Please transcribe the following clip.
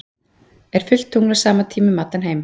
er fullt tungl á sama tíma um allan heim